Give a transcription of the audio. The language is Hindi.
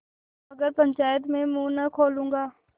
मगर पंचायत में मुँह न खोलूँगा